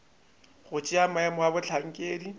go tšea maemo a bohlankedi